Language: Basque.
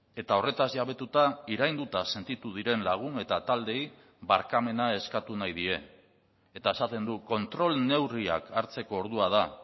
eta horretaz jabetuta irainduta sentitu diren lagun eta taldeei barkamena eskatu nahi die eta esaten du kontrol neurriak hartzeko ordua da